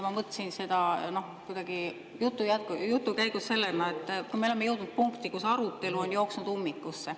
Ma mõtlesin seda jutu käigus kuidagi sellena, et me oleme jõudnud punkti, kus arutelu on jooksnud ummikusse.